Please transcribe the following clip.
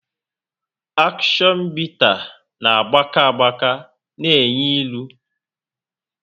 Akshion bita na gbaka agbaka na enyu ịlụ